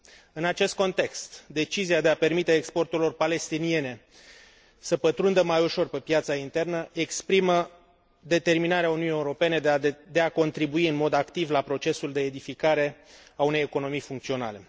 În acest context, decizia de a permite exporturilor palestiniene să pătrundă mai ușor pe piața internă exprimă determinarea Uniunii Europene de a contribui în mod activ la procesul de edificare a unei economii funcționale.